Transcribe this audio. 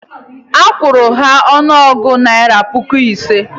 Akwụru m ha ọnụego naira puku ise